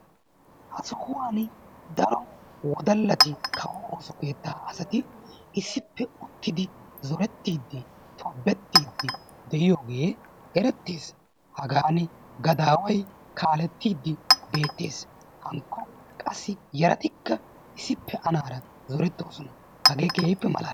Ha sohuwan daro wodalati kawo ooso keettaa asati issippe uttidi zoorettiidfi, tobettiiddi de'iyooge erettees. Hagan gadaaway kaallettidi beettees. Hankko qassi yaratikka issippe anaara zorettoosona. Hagee keehippe malaalees.